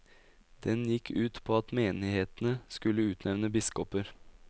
Den gikk ut på at menighetene skulle utnevne biskoper.